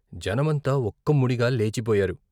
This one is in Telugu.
జనమంతా ఒక్కముడిగా లేచిపోయారు.